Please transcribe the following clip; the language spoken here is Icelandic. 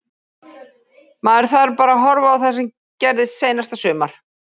Maður þarf bara að horfa á það sem gerðist seinasta sumar.